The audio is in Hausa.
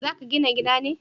Za ka gina gida ne?